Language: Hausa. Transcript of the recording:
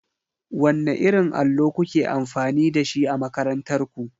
Wanne irin allo kuke amfani da shi a makarantar ku?